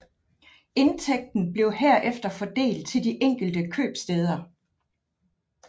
Indtægten blev herefter fordelt til de enkelte købstæder